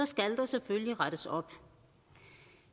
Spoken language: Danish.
skal der selvfølgelig rettes op